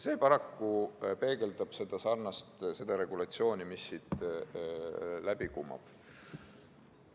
See paraku peegeldab ka seda regulatsiooni, mis siit läbi kumab.